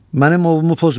Mənim ovumu pozma.